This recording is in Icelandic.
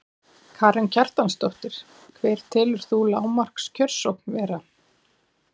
Karen Kjartansdóttir: Hver telur þú lágmarks kjörsókn vera?